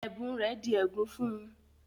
Ẹ̀bùn rẹ̀ di ègún fún-un